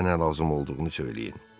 Sizə nə lazım olduğunu söyləyin.